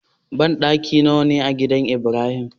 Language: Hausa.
Banɗaki nawa ne a gidan ibrahim?